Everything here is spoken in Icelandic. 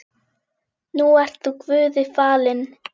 Nú ert þú Guði falinn.